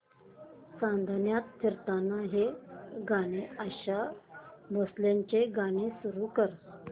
चांदण्यात फिरताना हे आशा भोसलेंचे गाणे सुरू कर